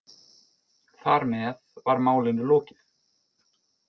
Þar með var málinu lokið.